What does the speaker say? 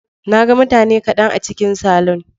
Na ga mutane kaɗan a cikin salon.